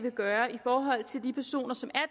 vil gøre i forhold til de personer som er